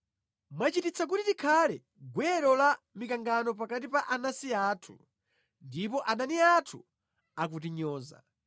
Mwachititsa kuti tikhale gwero la mikangano pakati pa anansi athu, ndipo adani athu akutinyoza.